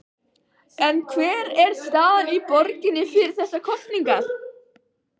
En hver er staðan í borginni fyrir þessar kosningar?